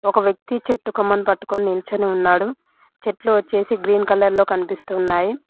ఒక వ్యక్తి చెట్టుకొమ్మని పట్టుకుని నిల్చనే ఉన్నాడు చెట్లు వచ్చేసి గ్రీన్ కలర్ లో కనిపిస్తున్నాయి.